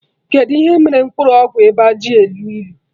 Kedụ ihe mere mkpụrụ ọgwụ ịba ji elu ilu?